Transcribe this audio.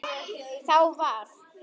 Þá var